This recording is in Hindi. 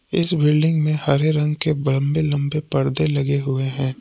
इस बिल्डिंग में हरे रंग के लंबे लंबे पर्दे लगे हुए हैं।